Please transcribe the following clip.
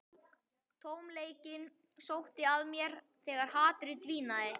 Tómleikinn sótti að mér þegar hatrið dvínaði.